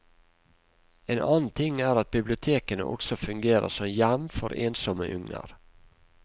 En annen ting er at bibliotekene også fungerer som hjem for ensomme unger.